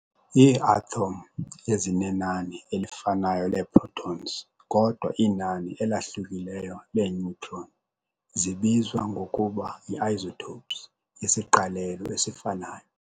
Iiathom ezinenani elifanayo leeprotons kodwa inani elahlukileyo lee-neutron zibizwa ngokuba yi-isotopes yesiqalelo esifanayo.